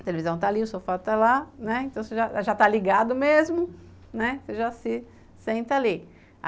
A televisão está ali, o sofá está lá, né, então você já já está ligado mesmo, você já se senta ali.